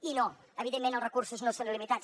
i no evidentment els recursos no són il·limitats